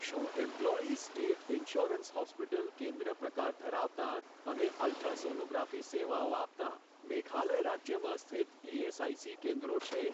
શું employees state insurance hospital કેન્દ્ર પ્રકાર ધરાવતાં અને અલ્ટ્રાસોનોગ્રાફી સેવાઓ આપતાં મેઘાલય રાજ્યમાં સ્થિત ઇએસઆઇસી કેન્દ્રો છે?